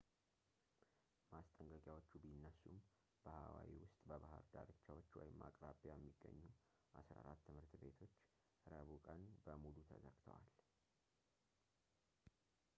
ማስጠንቀቂያዎቹ ቢነሱም በሃዋይ ውስጥ በባህር ዳርቻዎች ወይም አቅራቢያ የሚገኙ 14 ትምህርት ቤቶች ረቡዕ ቀን በሙሉ ተዘግተዋል